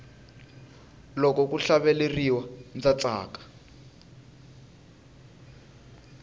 loko ku hlaveleriwa ndza tsaka